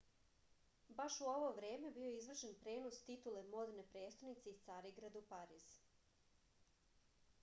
baš u ovo vreme bio je izvršen prenos titule modne prestonice iz carigrada u pariz